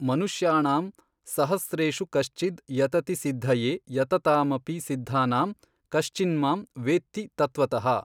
ಮನುಷ್ಯಾಣಾಂ ಸಹಸ್ರೇಷು ಕಶ್ಚಿದ್ ಯತತಿ ಸಿದ್ಧಯೇ ಯತತಾಮಪಿ ಸಿದ್ಧಾನಾಂ ಕಶ್ಚಿನ್ಮಾಂ ವೇತ್ತಿ ತತ್ವತಃ।